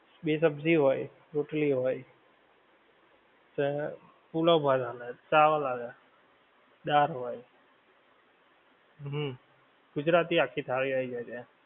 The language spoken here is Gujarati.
બે સબ્જી હોય, રોટલી હોય, ને પુલાવ ભાત આલે, ચાવલ આલે, દાળ હોય. હુંમ. ગુજરાતી આખી થાળી આવી જાય ત્યાં.